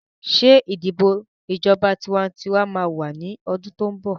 Ṣé ìdìbò ìjọba tiwantiwa máa wà ní ọdún tó ń bọ̀?